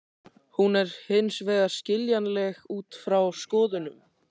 Hún er hins vegar skiljanleg út frá skoðunum.